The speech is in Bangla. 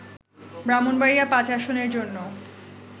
ব্রাহ্মণবাড়িয়া-৫ আসনের জন্য